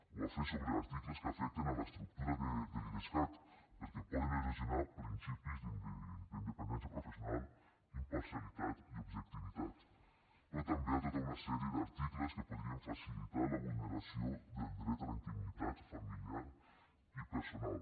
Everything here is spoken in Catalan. ho va fer sobre articles que afecten l’estructura de l’idescat perquè poden erosionar principis d’independència professional imparcialitat i objectivitat però també a tota una sèrie d’articles que podrien facilitar la vulneració del dret a la intimitat familiar i personal